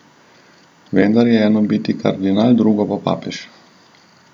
Vendar je eno biti kardinal, drugo pa papež.